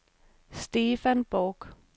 Stefan Bork